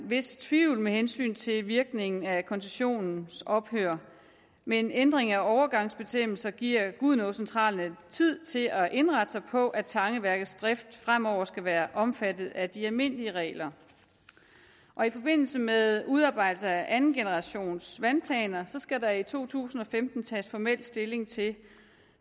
vis tvivl med hensyn til virkningen af koncessionens ophør men en ændring af overgangsbestemmelser giver gudenaacentralen tid til at indrette sig på at tangeværkets drift fremover skal være omfattet af de almindelige regler i forbindelse med udarbejdelse af andengenerationsvandplaner skal der i to tusind og femten tages formelt stilling til